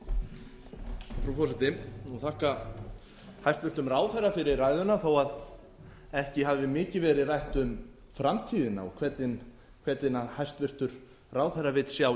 forseti ég vil þakka hæstvirtum ráðherra fyrir ræðuna þó að ekki hafi mikið verið rætt um framtíðina og hvernig hæstvirtur ráðherra vill sjá